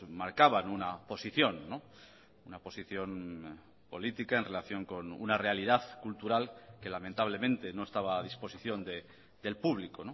marcaban una posición una posición política en relación con una realidad cultural que lamentablemente no estaba a disposición del público